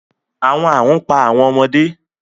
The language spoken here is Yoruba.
Awọn arun pa awọn ọmọde